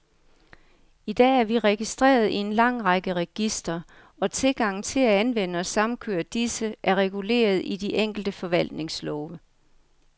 I dag er vi registreret i en lang række registre, og tilgangen til at anvende og samkøre disse, er reguleret i de enkelte forvaltningslove.